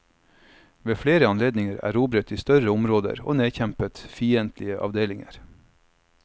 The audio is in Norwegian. Ved flere anledninger erobret de større områder og nedkjempet fiendtlige avdelinger.